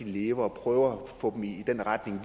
leve og at få dem i den retning